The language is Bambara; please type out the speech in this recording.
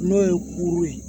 N'o ye kuru ye